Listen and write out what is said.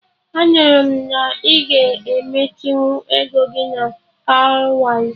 Anụrụ m na ị ga-emechinwu ego gị na Cowrywise